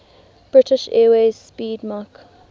british airways 'speedmarque